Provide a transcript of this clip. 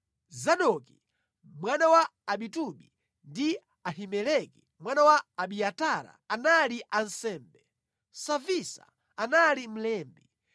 Zadoki, mwana wa Ahitubi ndi Ahimeleki mwana wa Abiatara anali ansembe; Savisa anali mlembi;